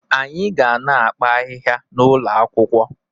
Anyị ga na-akpa ahịhịa n'ụlọ akwụkwọ